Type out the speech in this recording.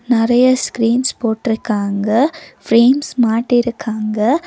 நெறையா ஸ்கிரீன்ஸ் போட்ருக்காங்க ஃபிரேம்ஸ் மாட்டிருக்காங்க.